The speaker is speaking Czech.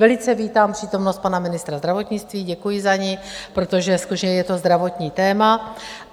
Velice vítám přítomnost pana ministra zdravotnictví, děkuji za ni, protože skutečně je to zdravotní téma.